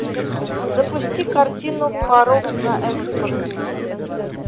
запусти картину порок на экспорт